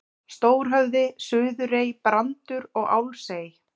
Stórhöfði, Suðurey, Brandur og Álfsey.